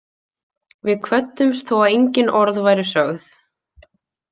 Við kvöddumst þó að engin orð væru sögð.